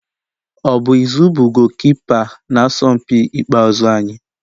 Ọ bụ Izu bụ goolukipa n'asọmpi ikpeazụ anyị?